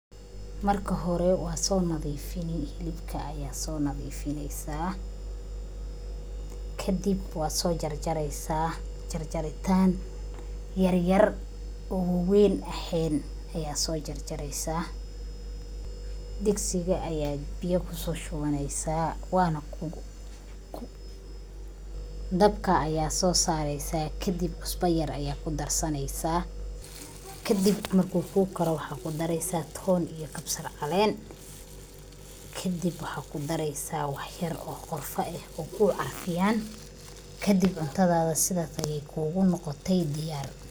Marka hore waa soonadiifin. Hilibka ayaad soonadiifineysaa, kadib waa soojarjareysaa. Jarjaritaan yeryer oo waween eheen ayaa soojarjareysa. Digsiga ayaad biyo kusooshubaneysaa, dabka ayaa soo sareysaa. Kadib, cusbo yer ayaad kudarsaneysaa. Kadib mar uu kuukaro, waxaa kudareysaa toon iyo kabsarcaleen. Kadib, waxaa kudareysaa wax yer oo qorfa eh oo kuu carfiyaan. Kadib cuntadada sidaas ayaay kuugu noqotay diyaar.